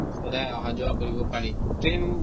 সদায় অহা যোৱা কৰিব পাৰি, train